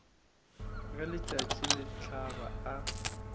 ge letšatši le hlaba a